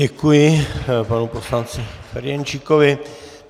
Děkuji panu poslanci Ferjenčíkovi.